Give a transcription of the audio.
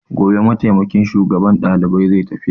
Gobe mataimakin shugaban dalibai zai tafiya.